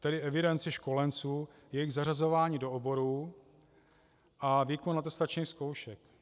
Tedy evidenci školenců, jejich zařazování do oborů a výkon atestačních zkoušek.